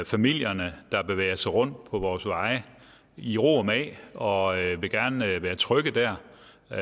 familierne der bevæger sig rundt på vores veje i ro og mag og gerne vil være trygge dér